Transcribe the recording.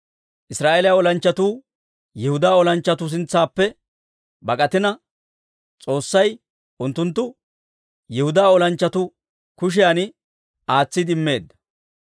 Israa'eeliyaa olanchchatuu Yihudaa olanchchatuu sintsaappe bak'atina, S'oossay unttunttu Yihudaa olanchchatuu kushiyan aatsiide immeedda.